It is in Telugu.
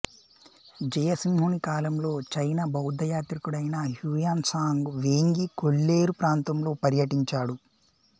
జయసింహుని కాలంలో చైనా బౌద్ధ యాత్రికుడైన హ్యూయాన్ త్సాంగ్ వేంగి కొల్లేరు ప్రాంతంలో పర్యటించాడు